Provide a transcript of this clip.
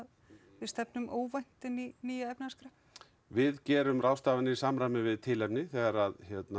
við stefnum óvænt inn í nýja efnahagskreppu við gerum ráðstafanir í samræmi við tilefni þegar